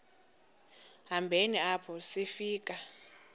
hambeni apho sifika